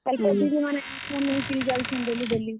Helper ଦିଦିମାନେ ଏସନ୍ ନେଇ କରି ଯାଉଛନ୍ daily daily ।